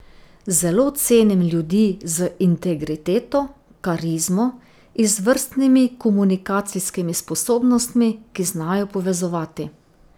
Zelo cenim ljudi z integriteto, karizmo, izvrstnimi komunikacijskimi sposobnostmi, ki znajo povezovati.